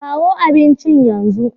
Kawo abincin yanzu!